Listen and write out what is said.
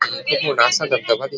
खूप मोठा असा धबधबा दिस--